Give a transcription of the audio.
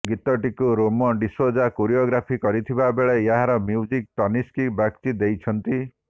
ଗୀତଟିକୁ ରେମୋ ଡିସୌଜା କୋରିଓଗ୍ରାଫି କରିଥିବାବେଳେ ଏହାର ମ୍ୟୁଜିକ୍ ତନିସ୍କ ବାଗଚୀ ଦେଇଛନ୍ତି